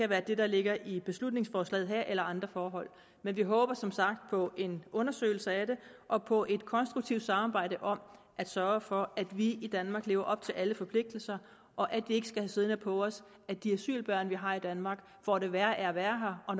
være det der ligger i beslutningsforslaget her eller andre forhold men vi håber som sagt på en undersøgelse af det og på et konstruktivt samarbejde om at sørge for at vi i danmark lever op til alle forpligtelser og at vi ikke skal have siddende på os at de asylbørn vi har i danmark får det værre af at være her og